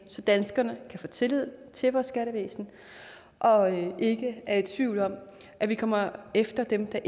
så danskerne kan få tillid til vores skattevæsen og ikke er i tvivl om at vi kommer efter dem der